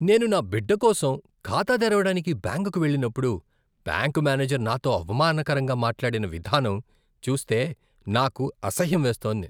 నేను నా బిడ్డకోసం ఖాతా తెరవడానికి బ్యాంకుకు వెళ్ళినప్పుడు బ్యాంకు మేనేజర్ నాతో అవమానకరంగా మాట్లాడిన విధానం చూస్తే నాకు అసహ్యం వేస్తోంది.